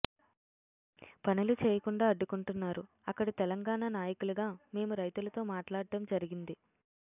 పనులు చేయకుండా అడ్డుకుంట్టన్నరు అక్కడి తెలంగాణ నాయకులుగా మేము రైతుల తో మాట్లాడం జరిగింది